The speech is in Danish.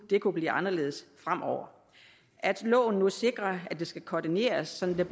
det kunne blive anderledes fremover altså at loven nu sikrer at det skal koordineres sådan